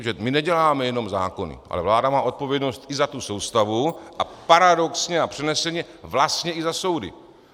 Protože my neděláme jenom zákony, ale vláda má odpovědnost i za tu soustavu a paradoxně a přeneseně vlastně i za soudy.